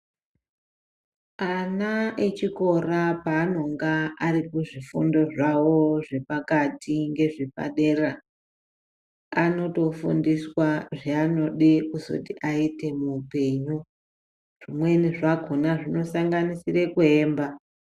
Ana echikora panonga Ari kuzvifundo zvawo zvepakati nezvepadera anotofundiswa zvanoda kuzoti aite muhupenyu zvimweni zvakona zvinosanganisira kuemba.